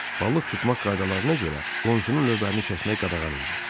Balıq tutmaq qaydalarına görə qonşunun lövbərini kəsmək qadağan idi.